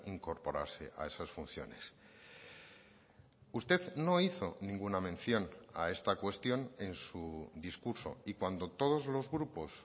incorporarse a esas funciones usted no hizo ninguna mención a esta cuestión en su discurso y cuando todos los grupos